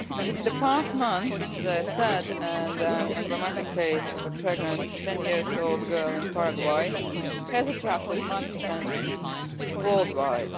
In the past months, the sad and emblematic case of a pregnant ten year old girl in Paraguay has attracted much attention worldwide.